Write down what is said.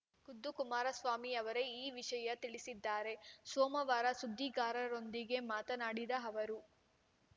ಖುದ್ದು ಕುಮಾರಸ್ವಾಮಿ ಅವರೇ ಈ ವಿಷಯ ತಿಳಿಸಿದ್ದಾರೆ ಸೋಮವಾರ ಸುದ್ದಿಗಾರರೊಂದಿಗೆ ಮಾತನಾಡಿದ ಅವರು